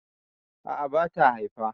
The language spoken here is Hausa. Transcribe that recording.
a'a bata Haifa